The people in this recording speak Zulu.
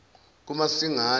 kumasingana